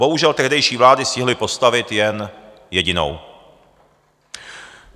Bohužel, tehdejší vlády stihly postavit jen jedinou.